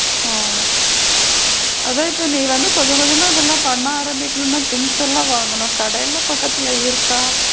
ஓ அதான் நீங்க வந்து இப்ப கொஞ்ச கொஞ்சமா இதலாம் பண்ண ஆரம்பிக்கனும்னா things எல்லா வாங்கணும் கடைலா பக்கத்துல இருக்கா?